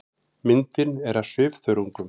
Myndin er af svifþörungum.